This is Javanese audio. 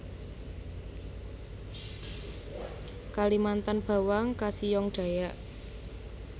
Kalimantan bawang kasihong Dayak